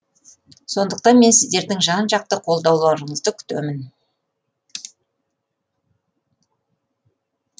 сондықтан мен сіздердің жан жақты қолдауларыңызды күтемін